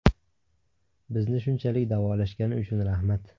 Bizni shunchalik davolashgani uchun rahmat.